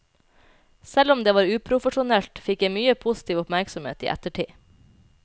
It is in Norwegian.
Selv om det var uprofesjonelt, fikk jeg mye positiv oppmerksomhet i ettertid.